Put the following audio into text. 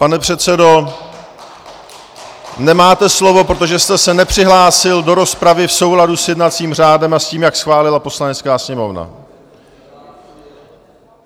Pane předsedo, nemáte slovo, protože jste se nepřihlásil do rozpravy v souladu s jednacím řádem a s tím, jak schválila Poslanecká sněmovna.